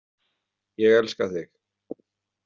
Ég elska þig.